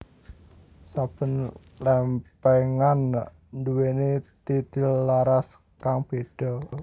Saben lèmpèngan nduwèni titilaras kang béda